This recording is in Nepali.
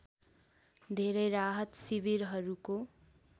धेरै राहत शिविरहरूको